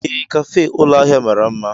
Ee, kafe ụlọ ahịa mara mma.